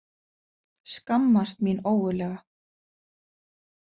Skammast mín ógurlega.